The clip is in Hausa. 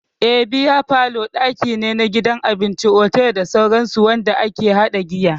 Eh, Bear parlour daki ne a gidan abinci, otal, da sauransu wanda ake hada giya.